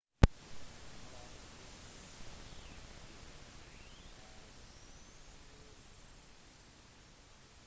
nadal stilling mot kanadieren er 7-2